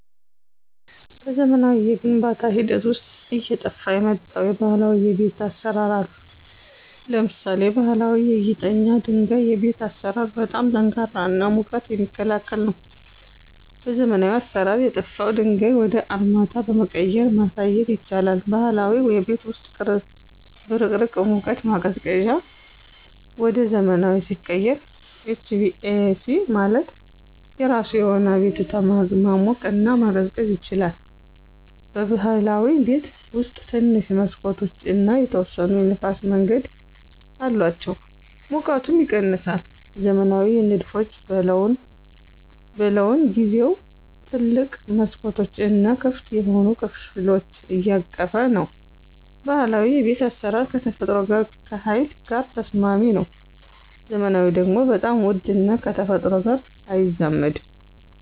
በዘመናዊ የግንባታ ሂደት ውስጥ አየጠፍ የመጣው የባህላዊ የቤት አሰራር አሉ። ለምሳሌ ባሀላዊ በጊጠኛ ድንጋይ የቤት አሰራር በጣም ጠንካራ እና ሙቀት የሚክላከል ነው። በዘመናዊ አሰራር የጠፍው ድንጋዩ ወደ አርማታ በመቀየራ ማሳየት ይቻላል። ባህላዊ የቤት ውስጥ በቅርቅህ ሙቀት ማቀዝቀዚያ ወደ ዘመናዊ ሲቀየር HVAC ማለት የራሱ የሆነ አቤቱታ ማሞቅና መቀዝቀዝ ይችላል። በብህላዊ ቤት ውስጥ ትንሽ መሠኮቶች እና የተወሰነ የንፍስ መንገድ አላቸው ሙቀቱም ይቀነሳል። ዘመናዊ ንድፎች በለውን ጊዜው ትልቅ መስኮቶች እና ክፍት የሆኑ ከፍሎች ያቀፈ ነው። ባህላዊ የቤት አስራር ከተፈጥሮ ጋር ከሀይል ጋር ተስማሚ ነው። ዘመናዊ ደግሞ በጣም ውድ እና ከተፈጥሮ ጋር አይዛመድም።